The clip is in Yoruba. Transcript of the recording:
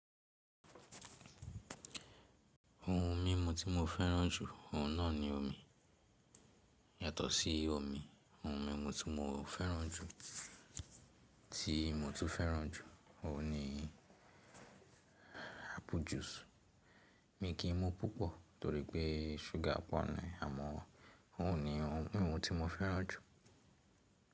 Ohun mimu ti mo fẹran ju ohun nani omi. Yàtọ̀ sí omi, ohun mímu tí mo fẹ́ràn jù tí mo tún fẹ́ràn jù, òun ni apple juice. Mi kì í mu púpọ̀ torípé ṣúgà pọ̀ ní, àmọ́ òun ni ohun mímu tí mo fẹ́ràn jù.